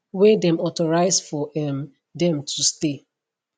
wey dem authorize for um dem to stay